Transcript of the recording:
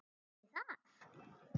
Ætli það?